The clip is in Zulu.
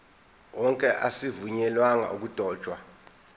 wonke azivunyelwanga ukudotshwa